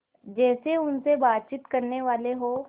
जैसे उनसे बातचीत करनेवाले हों